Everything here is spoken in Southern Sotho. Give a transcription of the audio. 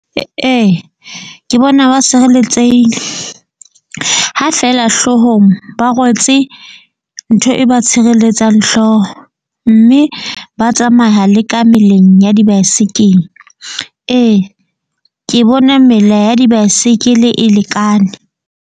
Ee, ke bona ba sireletsehile ha feela hloohong, ba rwetse ntho e ba tshireletsang hlooho. Mme ba tsamaya le ka meleng ya dibaesekele. Ee, ke bona mela ya dibaesekele e lekane.